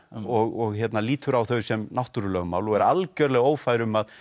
og lítur á þau sem náttúrulögmál og er algjörlega ófær um að